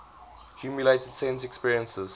accumulated sense experiences